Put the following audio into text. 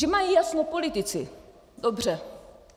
Že mají jasno politici, dobře.